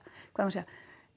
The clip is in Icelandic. hvað á að segja